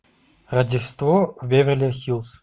рождество в беверли хиллз